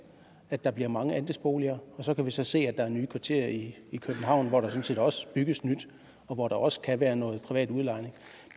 at der bliver mange andelsboliger og så kan vi så se at der er nye kvarterer i københavn hvor der sådan set også bygges nyt og hvor der også kan være noget privat udlejning